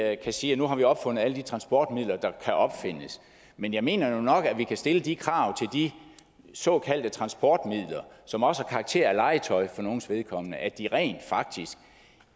at vi kan sige at nu har vi opfundet alle de transportmidler der kan opfindes men jeg mener nu nok at vi kan stille de krav til de såkaldte transportmidler som også har karakter af legetøj for nogles vedkommende at de rent faktisk